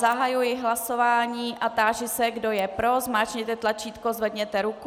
Zahajuji hlasování a táži se, kdo je pro, zmáčkněte tlačítko, zvedněte ruku.